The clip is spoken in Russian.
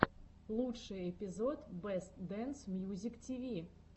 лучший эпизод бэст дэнс мьюзик тиви